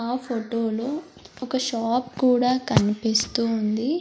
ఆ ఫోటో లో ఒక షాప్ కూడా కనిపిస్తూ ఉంది.